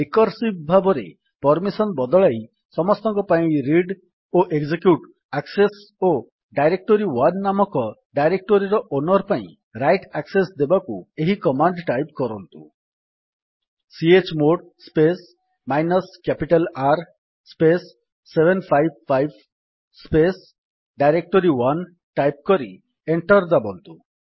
recursive ଭାବରେ permission ବଦଳାଇ ସମସ୍ତଙ୍କ ପାଇଁ ରିଡ୍ ଓ ଏକଜେକ୍ୟୁଟ୍ ଆକ୍ସେସ୍ ଓ ଡାଇରେକ୍ଟୋରୀ1 ନାମକ ଡାଇରେକ୍ଟୋରୀର ଓନର୍ ପାଇଁ ରାଇଟ୍ ଆକ୍ସେସ୍ ଦେବାକୁ ଏହି କମାଣ୍ଡ୍ ଟାଇପ କରନ୍ତୁ chmod space minus capital R space 755 space directory one type କରି ଏଣ୍ଟର୍ ଦାବନ୍ତୁ